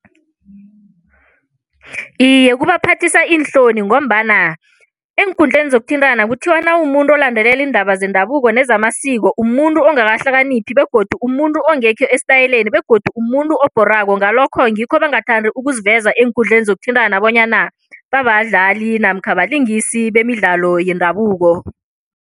Iye, kubaphathisa iinhloni ngombana eenkundleni zokuthintana kuthiwa nawumuntu olandelela iindaba zendabuko nezamasiko umuntu ongakahlaniphi begodu umuntu ongekho esitayeleni begodu umuntu obhorako ngalokho ngikho bangathandi ukuziveza eenkundleni zokuthintana bonyana babadlali namkha balingisi bemidlalo yendabuko.